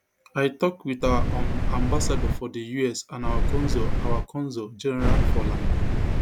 i tok wit our um ambassador for di us and our consul our consul general for la